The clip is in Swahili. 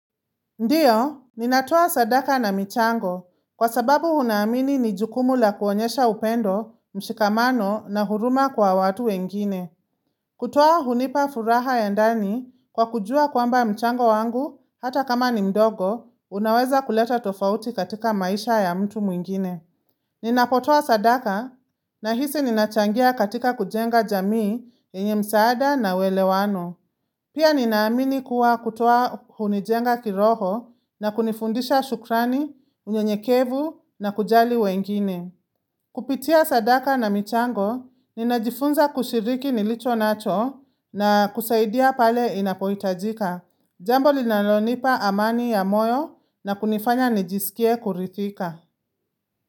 Ndiyo, ninatoa sadaka na mchango kwa sababu hunaamini ni jukumu la kuonyesha upendo, mshikamano na huruma kwa watu wengine. Kutoa hunipa furaha ya ndani kwa kujua kwamba mchango wangu hata kama ni mdogo unaweza kuleta tofauti katika maisha ya mtu mwingine. Ninapotoa sadaka nahisi ninachangia katika kujenga jamii yenye msaada na welewano. Pia ninaamini kuwa kutoa hunijenga kiroho na kunifundisha shukrani, unyenyekevu na kujali wengine. Kupitia sadaka na michango, ninajifunza kushiriki nilicho nacho na kusaidia pale inapoitajika. Jambo linalonipa amani ya moyo na kunifanya nijisikie kurithika.